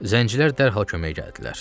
Zəncilər dərhal köməyə gəldilər.